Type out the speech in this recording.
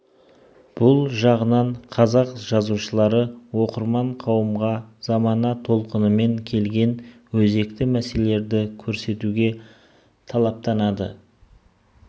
бұл жағынан қазақ жазушылары оқырман қауымға замана толқынымен келген өзекті мәселелерді көрсетуге талаптанды